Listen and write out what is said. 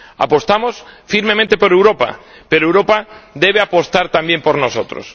Apostamos firmemente por Europa, pero Europa debe apostar también por nosotros.